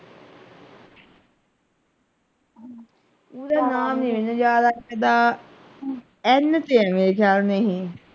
ਪੂਰਾ ਨਾਮ ਨਹੀਂ ਮੈਨੂੰ ਯਾਦ ਹੈ ਇਹਦਾ N ਤੇ ਹੈ ਮੇਰੇ ਖ਼ਿਆਲ ਮੈਂ ਹੀ।